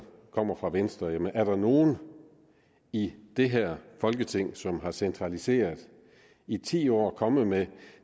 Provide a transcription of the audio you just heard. kommer fra venstre jamen er der nogen i det her folketing som har centraliseret i ti år og er kommet med